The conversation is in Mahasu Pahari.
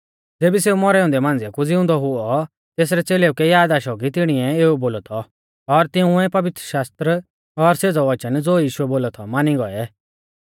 ज़ेबी सेऊ मौरै औन्दै मांझिया कु ज़िउंदौ हुऔ तेसरै च़ेलेउ कै याद आशौ कि तिणीऐ एऊ बोलौ थौ और तिंउऐ पवित्रशास्त्र और सेज़ौ वचन ज़ो यीशुऐ बोलौ थौ मानी गौऐ